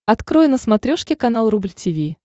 открой на смотрешке канал рубль ти ви